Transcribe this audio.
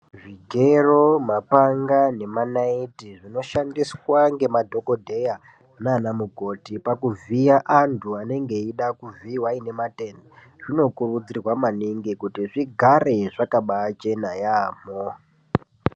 Zvigero mapanga nemanaiti zvinoshandiswa ngemadhokodheya nanamukoti pakuvhiya antu anenge eida kuvhiiwa aine matenda zvinokurudzirwa maningi kuti zvigare zvakabaichena yamho.